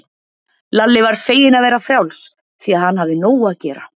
Lalli var feginn að vera frjáls, því að hann hafði nóg að gera.